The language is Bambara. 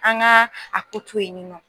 An gaa a ko to yen ni nɔ